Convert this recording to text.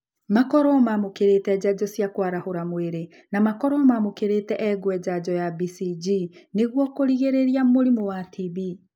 Makorũo mamũkĩrĩte njanjo cia kũarahũra mwĩrĩ na makorũo mamũkĩrĩte engwe janjo ya BCG nĩguo kũrigĩrĩria mũrimũ wa TB